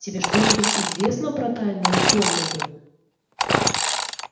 тебе что-нибудь известно про тайную комнату